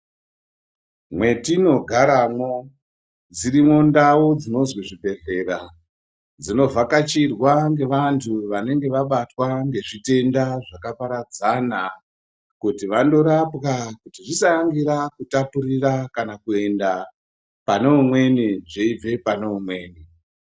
Mwetinogaremwo dzirimwo ndau dzinozi zvibhedhlera, dzinovhakachirwa ngevantu vanenge vabatwa ngezvitenda zvakaparadzana kuti vandorapwa kuti zvisaangira kutapurira kana kuenda pane umweni zveibve paneumweni.